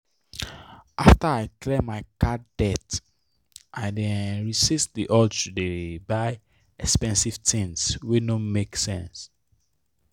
after i clear my card debt i dey um resist the urge to dey buy expensive tins wey no make sense.